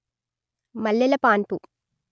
మల్లెల పాన్పు